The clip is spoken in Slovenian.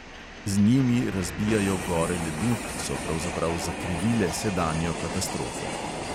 Z njimi razbijajo gore ledu, ki so pravzaprav zakrivile sedanjo katastrofo.